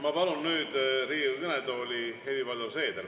Ma palun nüüd Riigikogu kõnetooli Helir-Valdor Seederi.